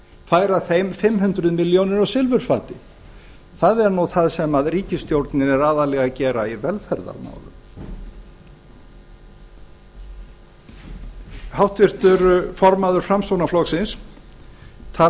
færa þeim fimm hundruð milljónir á silfurfati það er það sem ríkisstjórnin er aðallega að gera í velferðarmálum háttvirtur formaður framsóknarflokksins talar um